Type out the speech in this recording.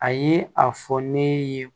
A ye a fɔ ne ye